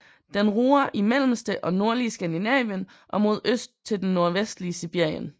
Den ruger i mellemste og nordlige Skandinavien og mod øst til det nordvestlige Sibirien